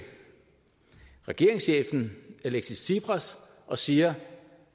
regeringschefen alexis tsipras og siger at